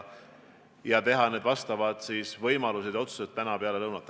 Me teeme oma otsused täna peale lõunat.